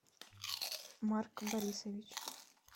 марк борисович